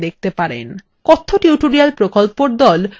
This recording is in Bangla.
কথ্য tutorial প্রকল্পর the